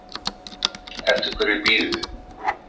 Eftir hverju bíðið þið